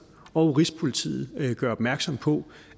og rigspolitiet gør opmærksom på